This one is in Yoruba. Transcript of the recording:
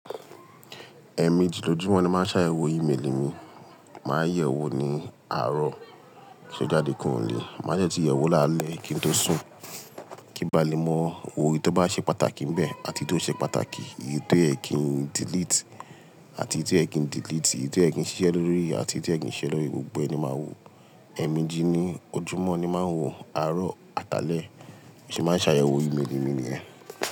ẸMéjì lojúmọ́ ni máa ń sa yẹ̀wó ìméélì mi, máa yẹ wó ní àárọ̀, kí n tó jáde kúrò ń'lé, máa dẹ tún yẹ̀wó ní alẹ́ kí n tó sùn, kí n ba lè mọ ohun tó bá ṣe pàtàkì ń bẹ́ẹ̀ àti ti o ṣe pàtàkì, èyí tó yẹ̀ kin delete àti èyí tí ó yẹ̀ kin delete, èyí tí ó yẹ̀ kin ṣiṣẹ́ lórí àti èyí tí ó yẹ̀ kín ṣiṣẹ́ lórí, gbogbo ẹni máa wò. Ẹẹmeji ní ojúmọ́ ni máa ń wò, àárọ̀, àtàlẹ̀ ṣe máa ń sà ẹ̀wó ìméélì mi yẹn.